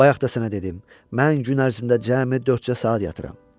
Bayaq da sənə dedim, mən gün ərzində cəmi dörd-cə saat yatıram.